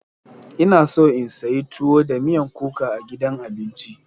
Ina so in sayi tuwo da miyan kuka a gidan abinci.